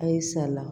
A ye sala